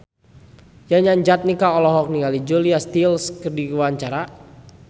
Yayan Jatnika olohok ningali Julia Stiles keur diwawancara